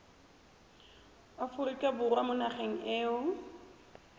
aforika borwa mo nageng eo